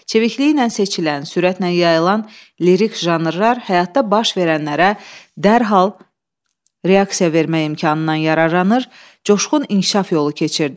Çevikliyi ilə seçilən, sürətlə yayılan lirik janrlar həyatda baş verənlərə dərhal reaksiya vermək imkanından yararlanır, coşqun inkişaf yolu keçirdi.